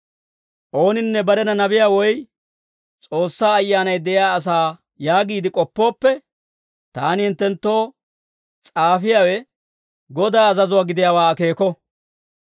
Ooninne barena nabiyaa woy S'oossaa Ayyaanay de'iyaa asaa yaagiide k'oppooppe, taani hinttenttoo s'aafiyaawe Godaa azazuwaa gidiyaawaa akeeko.